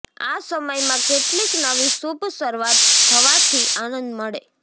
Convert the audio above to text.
આ સમયમાં કેટલીક નવી શુભ શરૃઆત થવાથી આનંદ મળે